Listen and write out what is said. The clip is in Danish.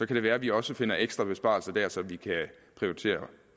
det være vi også finder ekstra besparelser dér så vi kan prioritere